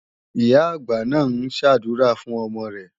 Ìyá-àgbà náà ń ṣàdúrà fún ọmọ rẹ̀.